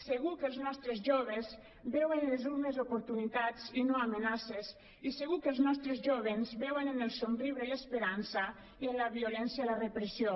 segur que els nostres joves veuen en les urnes oportunitats i no amenaces i segur que els nostres jóvens veuen en el somriure l’esperança i en la violència la repressió